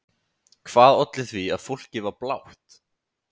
Hvað olli því að fólkið var blátt?